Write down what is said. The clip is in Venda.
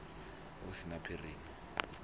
hu si na tshiphiri na